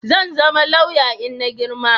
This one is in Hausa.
zanzama lauya inna girma